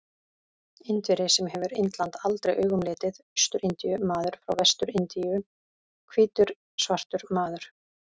Indverji sem hefur Indland aldrei augum litið, Austur-Indíu-maður frá Vestur-Indíum, hvítur svartur maður.